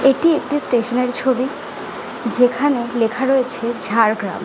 এটি একটি স্টেশন এর ছবি যেখানে লেখা রয়েছে ঝাড়গ্রাম।